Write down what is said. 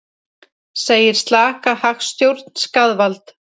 Segir slaka hagstjórn skaðvald